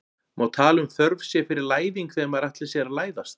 Má tala um þörf sé fyrir læðing þegar maður ætlar sér að læðast?